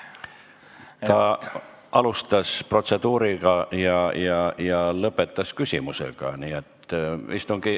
Ta alustas protseduurist rääkimisega ja lõpetas küsimusega.